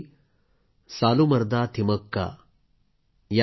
ही महिला होती सालूमरदा थिमक्का